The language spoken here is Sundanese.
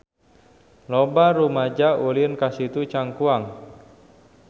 Loba rumaja ulin ka Situ Cangkuang